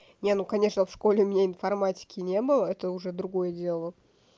не ну конечно в школе у меня информатике не было это уже другое дело